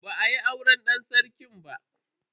Ba a yi auren dan sarki ba.